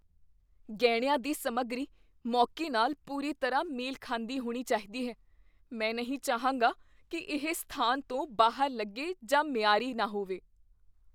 ਗਹਿਣਿਆਂ ਦੀ ਸਮੱਗਰੀ ਮੌਕੇ ਨਾਲ ਪੂਰੀ ਤਰ੍ਹਾਂ ਮੇਲ ਖਾਂਦੀ ਹੋਣੀ ਚਾਹੀਦੀ ਹੈ। ਮੈਂ ਨਹੀਂ ਚਾਹਾਂਗਾ ਕੀ ਇਹ ਸਥਾਨ ਤੋਂ ਬਾਹਰ ਲੱਗੇ ਜਾਂ ਮਿਆਰੀ ਨਾ ਹੋਵੇ।